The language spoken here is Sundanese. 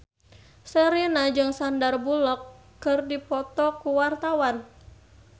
Sherina jeung Sandar Bullock keur dipoto ku wartawan